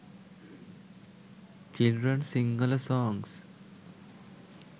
children sinhala songs